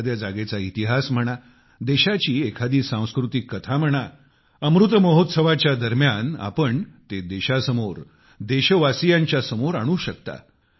एखाद्या जागेचा इतिहास म्हणा देशाची एखादी सांस्कृतिक कथा म्हणा अमृत महोत्सवाच्या दरम्यान आपण ते देशासमोर देशवासियांच्या समोर आणू शकता